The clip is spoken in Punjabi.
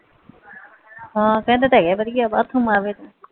ਹਾਂ ਕਿਹੰਦੇ ਤੇ ਆ ਵਧੀਆ ਆ ਬਾਥਰੂਮ ਆਵੈ ਤੇ